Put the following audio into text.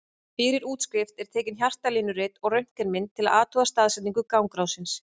Fyrir útskrift er tekið hjartalínurit og röntgenmynd til að athuga staðsetningu gangráðsins.